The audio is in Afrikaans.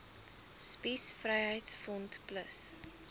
spies vryheids front plus